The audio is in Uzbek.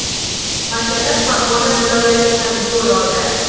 Mash’ala Farg‘ona viloyati sari yo‘l oldi.